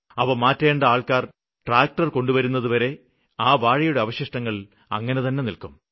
അവ മാറ്റേണ്ട ആള്ക്കാര് ട്രാക്ടര് കൊണ്ടുവരുന്നതുവരെ ആ വാഴയുടെ അവശിഷ്ടങ്ങള് അങ്ങിനെതന്നെ നില്ക്കും